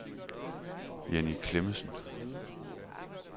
Jenny Clemmensen